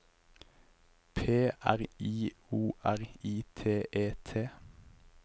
P R I O R I T E T